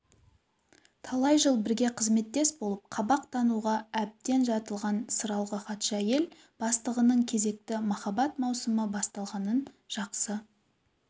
талай жыл бірге қызметтес болып қабақ тануға әбден жатылған сыралғы хатшы әйел бастығының кезекті махаббат маусымы басталғанын жақсы